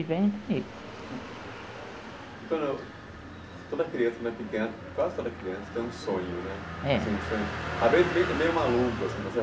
E vem. Doutora, quando a criança ainda é pequena, quase toda criança tem um sonho né? É. Assim um sonho, a maioria é meio maluco assim